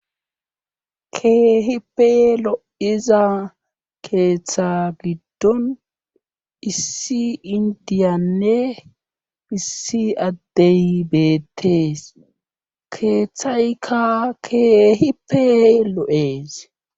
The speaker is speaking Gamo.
keehi pe lo7iza keeththa giddon issi indiyanne issi addey beettees keeththaykka keeehi pe lo7ees